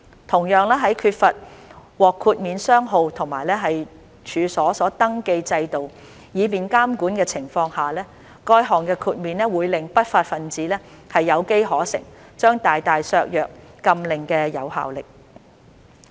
同樣，在缺乏獲豁免商號和處所登記制度以便監管的情況下，該項豁免會令不法分子有機可乘，將大大削弱禁令的有效力。